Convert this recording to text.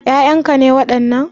Ƴaƴan ka ne wadannan?